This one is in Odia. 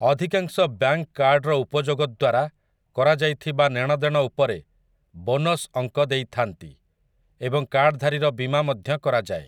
ଅଧିକାଂଶ ବ୍ୟାଙ୍କ କାର୍ଡର ଉପଯୋଗଦ୍ୱାରା କରାଯାଇଥିବା ନେଣଦେଣ ଉପରେ ବୋନସ୍ ଅଙ୍କ ଦେଇଥାନ୍ତି ଏବଂ କାର୍ଡଧାରୀର ବୀମା ମଧ୍ୟ କରାଯାଏ ।